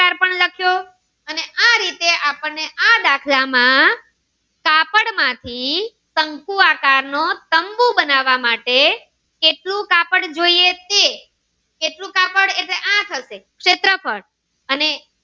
આપણે આ દાખલ માં કાપડ માંથી શંકુ આકાર નો તંબુ બનાવ કેટલું કાપડ જોઈએ તે કેટલુ કાપડ એટલે આ થશે શેત્રફ્ળ.